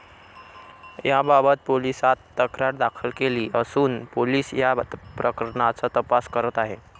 याबाबत पोलिसांत तक्रार दाखल केली असून पोलीस या प्रकरणाचा तपास करत आहेत.